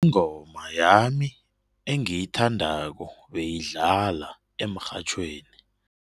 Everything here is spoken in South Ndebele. Ingoma yami engiyithandako beyidlala emrhatjhweni.